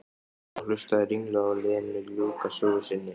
Og hlustaði ringluð á Lenu ljúka sögu sinni.